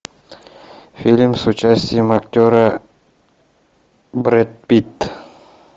фильм с участием актера брэд питт